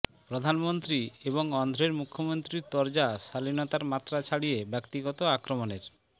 প্রধানমন্ত্রী এবং অন্ধ্রের মুখ্যমন্ত্রীর তরজা শালীনতার মাত্রা ছাড়িয়ে ব্যক্তিগত আক্রমণের